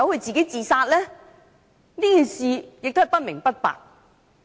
這事至今也是不明不白。